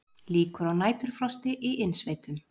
Líkur á næturfrosti í innsveitum